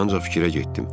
Ancaq fikrə getdim.